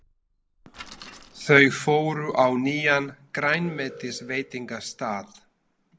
Þau fóru á nýjan grænmetisveitingastað.